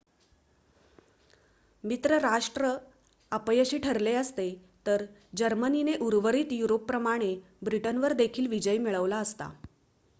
मित्र राष्ट्र अपयशी ठरले असते तर जर्मनीने उर्वरित युरोपप्रमाणे ब्रिटनवर देखील विजय मिळवला असता